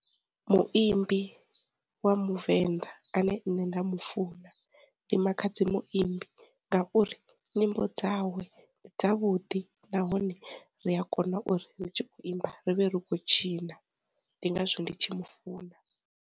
Muimbi wa muvenḓa ane nṋe nda mu funa ndi Makhadzi muimbi ngauri, nyimbo dzawe ndi dza vhuḓi nahone ri a kona uri ri tshi kho imba, ri vhe ri khou tshina ndi ngazwo ndi tshi mufuna.